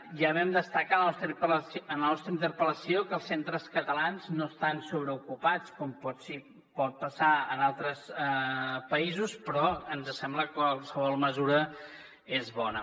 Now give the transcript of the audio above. ja vam destacar en la nostra interpellació que els centres catalans no estan sobreocupats com pot passar en altres països però ens sembla que qualsevol mesura és bona